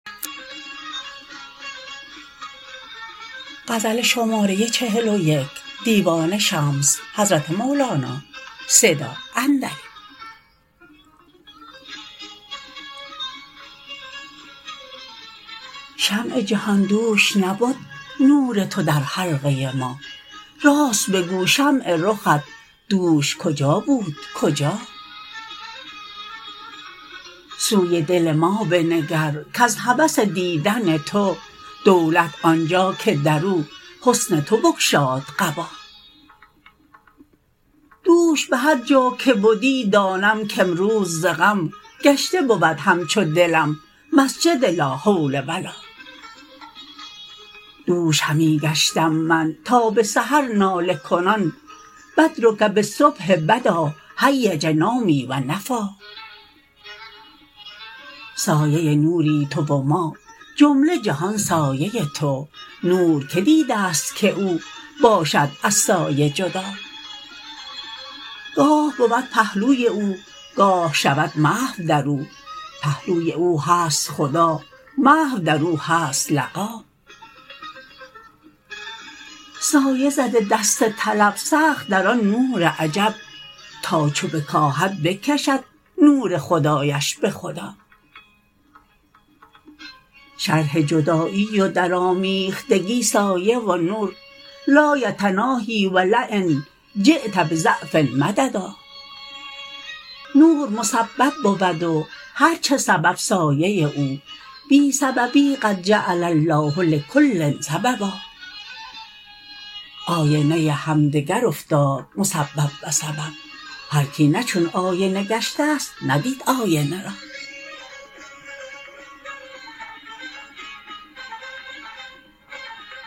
شمع جهان دوش نبد نور تو در حلقه ما راست بگو شمع رخت دوش کجا بود کجا سوی دل ما بنگر کز هوس دیدن تو دولت آن جا که در او حسن تو بگشاد قبا دوش به هر جا که بدی دانم کامروز ز غم گشته بود همچو دلم مسجد لا حول و لا دوش همی گشتم من تا به سحر ناله کنان بدرک بالصبح بدا هیج نومي و نفیٰ سایه نوری تو و ما جمله جهان سایه تو نور کی دیدست که او باشد از سایه جدا گاه بود پهلوی او گاه شود محو در او پهلوی او هست خدا محو در او هست لقا سایه زده دست طلب سخت در آن نور عجب تا چو بکاهد بکشد نور خدایش به خدا شرح جدایی و درآمیختگی سایه و نور لا یتناهیٰ و لین جیت بضعف مددا نور مسبب بود و هر چه سبب سایه او بی سببی قد جعل الله لکل سببا آینه همدگر افتاد مسبب و سبب هر کی نه چون آینه گشتست ندید آینه را